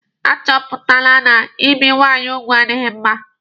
A chọpụtala na ibi nwaanyị ugwu adịghị mma.